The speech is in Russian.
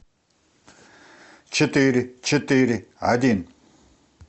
четыре четыре один